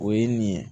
O ye nin ye